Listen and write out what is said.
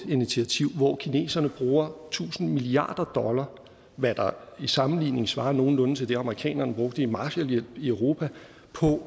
initiativ hvor kineserne bruger tusind milliarder dollar hvad der i sammenligning svarer nogenlunde til det amerikanerne brugte i marshallhjælp i europa på